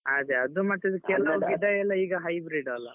ಅದೇ ಅದು ಮತ್ತೆ ಕೇಲಾವ್ ಗಿಡ ಎಲ್ಲ hybrid ಅಲ್ಲ.